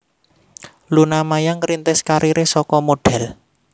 Luna Maya ngrintis kariré saka modhél